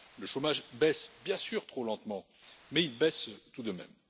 Le chômage baisse, bien sûr trop lentement, mais il baisse tout de même.